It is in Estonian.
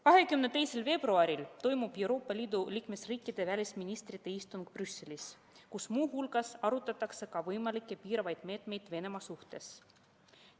22. veebruaril toimub Euroopa Liidu liikmesriikide välisministrite istung Brüsselis, kus muu hulgas arutatakse ka võimalikke piiravaid meetmeid Venemaa suhtes.